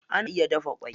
Ana iya dafa ƙwai.